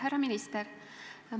Härra minister!